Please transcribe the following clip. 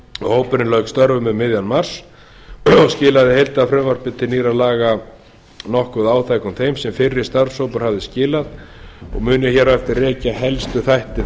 hópurinn lauk störfum um miðjan mars og skilaði heildarfrumvarpi til nýrra laga nokkuð áþekkum þeim sem fyrri starfshópur hafði skilað og mun ég hér á eftir rekja helstu þætti